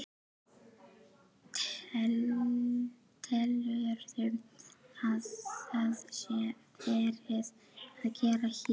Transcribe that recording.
Telurðu að það sé verið að gera hér?